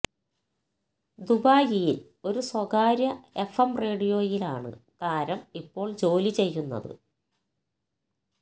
ദുബായിയിൽ ഒരു സ്വകാര്യ എഫ് എം റേഡിയോയിലാണ് താരം ഇപ്പോൾ ജോലി ചെയുന്നത്